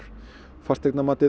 fasteignamatið